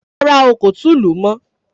Rárá o, kò tún lù ú mọ́.